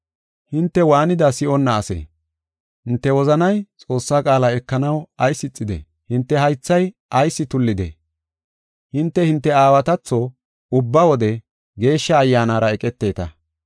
“Hinte waanida si7onna asee? Hinte wozanay Xoossaa qaala ekanaw ayis ixidee? Hinte haythay ayis tullidee? Hinte, hinte aawatatho ubba wode Geeshsha Ayyaanara eqeteta.